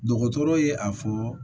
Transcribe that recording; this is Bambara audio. Dɔgɔtɔrɔ ye a fɔ